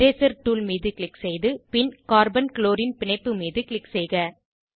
eraser tool மீது click செய்து பின் கார்பன் க்ளோரின் பிணைப்பு மீது க்ளிக் செய்க